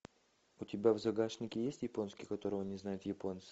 у тебя в загашнике есть японский которого не знают японцы